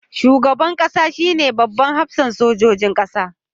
Shugaban kasa shine babban hafsan sojojin kasa.